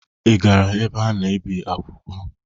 Ị gara ebe a na-ebi akwụkwọ?